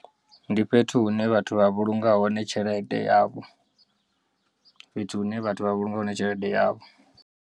Ndi fhethu hune vhathu vha vhulunga hone tshelede yavho fhethu hune vhathu vha vhulunga hone tshelede yavho.